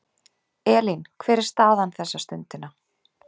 Elín, hver er staðan þessa stundina?